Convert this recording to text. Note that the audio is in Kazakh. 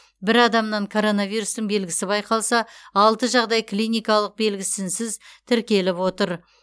бір адамнан коронавирустың белгісі байқалса алты жағдай клиникалық белгісінсіз тіркеліп отыр